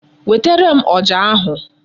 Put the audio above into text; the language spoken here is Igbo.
Wetere m ọjà ahụ.